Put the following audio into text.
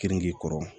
Kenige kɔrɔ